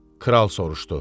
Kral soruşdu.